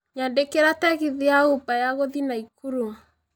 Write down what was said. nyandĩkĩra tegithi ya uber ya gũthiĩ naikuru